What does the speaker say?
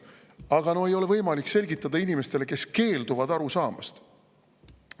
Aga no ei ole võimalik midagi selgitada inimestele, kes keelduvad aru saamast.